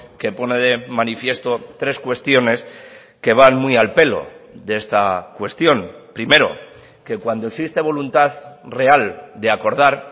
que pone de manifiesto tres cuestiones que van muy al pelo de esta cuestión primero que cuando existe voluntad real de acordar